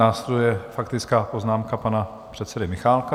Následuje faktická poznámka pana předsedy Michálka.